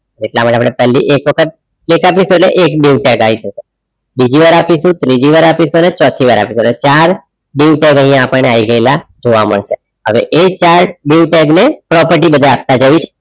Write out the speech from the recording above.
એટલા માટે આપણે પહેલી એક વખત એકત્રીસો એટલે એક delta type બીજીવાર આપીશું ત્રીજી વાર આપીશું અને ચોથી વાર આપીશું એટલે ચાર dieu tag અહીંયા આપણને આવી ગયેલા જોવા મળશે હવે એ ચાર dieu tag ને property બધા આપવા જઈશ.